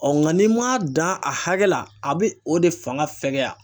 nka n'i ma dan a hakɛ la a bɛ o de fanga fɛgɛya.